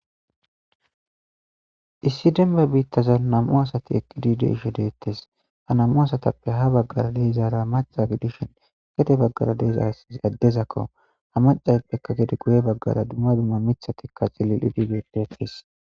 Issi demba biittazan nam7u asati eqqidi dizaysi beettishe deettees ha nam7u asatappe ha baggara dizara macca gidishin gede baggara dizaysi addeko ha maccayippe guye baggara dumma dumma miththati de7osona